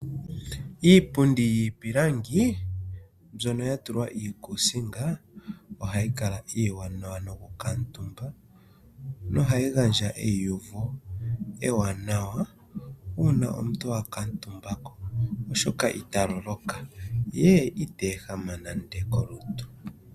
Iipundi yiipilangi mbyono ya tulwa iikusinga ohayi kala iiwanawa noku katumba noha yi gandja eyiyuvo ewanawa uuna omuntu aka tumbako oshoka ita lol okay ye ita ehama nande kolutu.